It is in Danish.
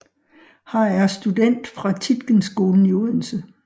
Har er student fra Tietgenskolen i Odense